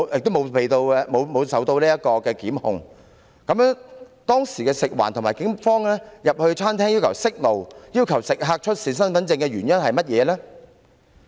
那麼，食環署人員或警方當時進入餐廳，要求員工關上煮食爐，並要求食客出示身份證的原因是甚麼？